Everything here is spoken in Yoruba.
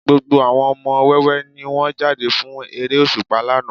Gbogbo àwọn ọmọ wẹ́wẹ́ ni wọ́n jáde fún eré òṣùpá lánàá